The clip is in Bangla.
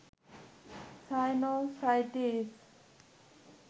সাইনোসাইটিস